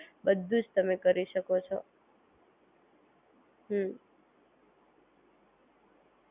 હા એ તો હું તમને કહેતી જ છો કે તમે મૂવી Book tickets કરી શકો કોઈ પણ જગ્યા ની Book tickets કરી શકો